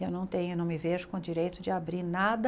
Eu não tenho não me vejo com direito de abrir nada